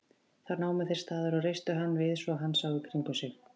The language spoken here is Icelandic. Þá námu þeir staðar og reistu hann við svo hann sá í kringum sig.